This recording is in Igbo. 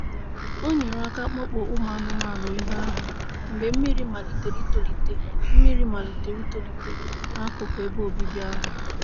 O nyere aka kpọpụ ụmụ anụmanụ ebe ahụ mgbe mmiri malitere itolite mmiri malitere itolite n'akụkụ ebe obibi ahụ.